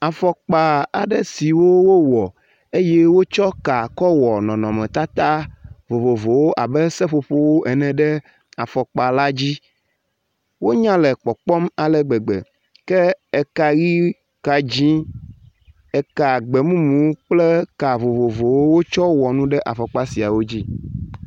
Afɔkpa aɖe siwo wowɔɔ eye wotsɔ ka kɔwɔ nɔnɔmetata vovovowo abe seƒoƒo ene ɖe afɔkpa la dzi. Wonya le kpɔkpɔm ale gbegbe ke eka ʋi, ka dzi, eka gbemumu kple ka vovovowo wotsɔ wɔ nu ɖe afɔkpa siawo dzi.